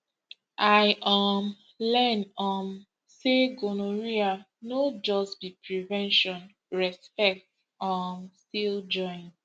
i um learn um say gonorrhea no just be prevention respect um still join